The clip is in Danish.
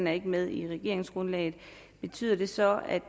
er med i regeringsgrundlaget betyder det så at